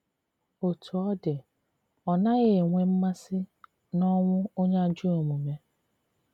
Otú ọ dị ,Ọ naghi enwe mmasi n'onwụ onye ajọ omume